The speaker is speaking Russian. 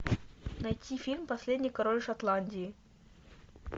найти фильм последний король шотландии